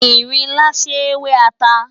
Ìrinlá ṣé wẹ́ ata.